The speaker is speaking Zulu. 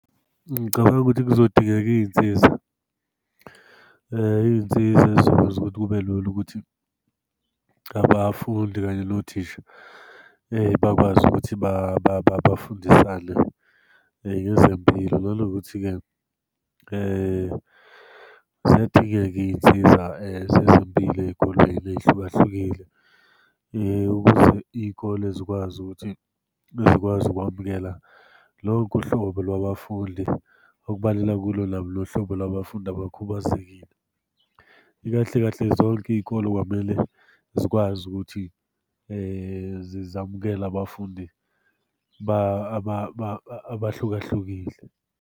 Ngicabanga ukuthi kuzodingeka iy'nsiza. Iy'nsiza ey'zokwenza ukuthi kube lula ukuthi abafundi kanye nothisha bakwazi ukuthi bafundisane nezempilo, nanokuthi-ke ziyadingeka iy'nsiza zezempilo ey'kolweni ey'hlukahlukile ukuze iy'kole zikwazi ukuthi, ezikwazi ukwamukela lonke uhlobo lwabafundi. Okubalelwa kulo nohlobo lwabafundi abakhubazekile. Kahle kahle zonke iy'kole kwamele zikwazi ukuthi zamukele abafundi abahluka hlukile.